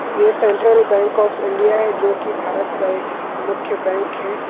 ये central bank of India है जोकि भारत का एक मुख्य बैंक हैं।